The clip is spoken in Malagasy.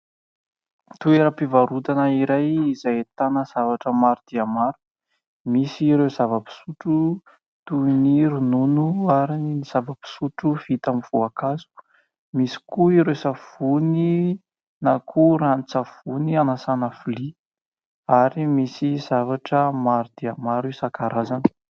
Toeram-pivarotana iray izay ahitana zavatra maro dia maro, misy ireo zava-pisotro toy ny ronono ary ny zava-pisotro vita amin'ny voankazo, misy koa ireo savony na koa ranon-tsavony hanasana vilia ary misy zavatra maro dia maro isan-karazany.